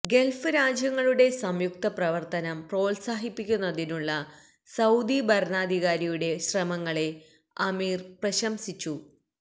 Gulf രാജ്യങ്ങളുടെ സംയുക്ത പ്രവർത്തനം പ്രോത്സാഹിപ്പിക്കുന്നതിനുള്ള സൌദി ഭരണാധികാരിയുടെ ശ്രമങ്ങളെ അമീർ പ്രശംസിച്ചു